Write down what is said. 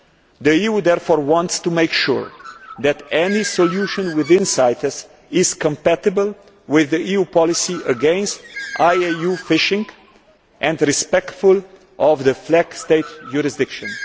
The EU therefore wants to make sure that any solution within CITES is compatible with the EU policy against IUU fishing and is respectful of flag state jurisdiction.